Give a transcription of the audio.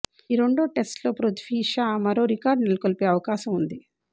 ఈ రెండో టెస్టులో పృథ్వీ షా మరో రికార్డు నెలకొల్పే అవకాశం ఉంది